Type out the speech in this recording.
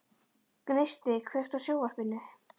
Gneisti, kveiktu á sjónvarpinu.